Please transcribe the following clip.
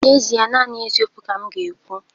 N'ezie, naanị eziokwu ka m ga-ekwu